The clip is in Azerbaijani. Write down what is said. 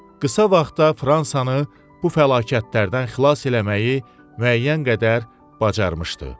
Qısa vaxtda Fransanı bu fəlakətlərdən xilas eləməyi müəyyən qədər bacarmışdı.